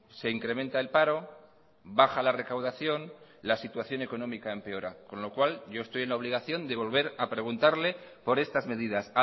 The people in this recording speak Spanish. se incrementa el paro baja la recaudación la situación económica empeora con lo cual yo estoy en la obligación de volver a preguntarle por estas medidas